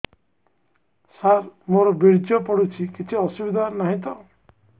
ସାର ମୋର ବୀର୍ଯ୍ୟ ପଡୁଛି କିଛି ଅସୁବିଧା ନାହିଁ ତ